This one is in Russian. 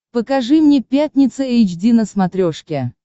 покажи мне пятница эйч ди на смотрешке